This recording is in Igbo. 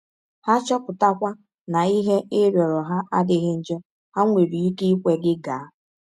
Ha chọpụtakwa na ihe ị rịọrọ ha adịghị njọ, ha nwere ike ikwe gị gaa.